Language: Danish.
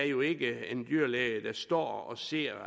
jo ikke er en dyrlæge der står og ser